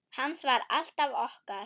Hans var alltaf okkar.